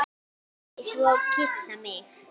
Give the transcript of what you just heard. Vildi svo kyssa mig.